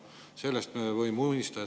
Sellest me võime unistada.